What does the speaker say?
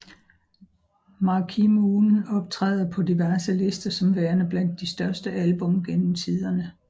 Marquee Moon optræder på diverse lister som værende blandt de største album gennem tiderne